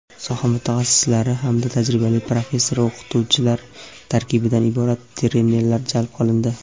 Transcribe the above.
soha mutaxassislari hamda tajribali professor-o‘qituvchilar tarkibidan iborat trenerlar jalb qilindi.